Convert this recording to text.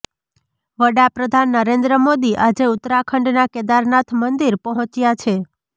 વડાપ્રધાન નરેન્દ્ર મોદી આજે ઉત્તરાખંડના કેદારનાથ મંદિર પહોંચ્યા છે